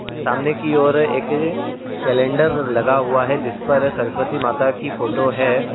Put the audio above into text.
सामने की और एक कैलेंडर लगा हुआ है जिस पर सरस्वती माता की फोटो है।